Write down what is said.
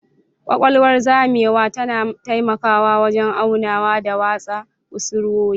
Ƙaƙwalwar zamewa tana taimakawa wajen aunawa da watsa kusurwoyi.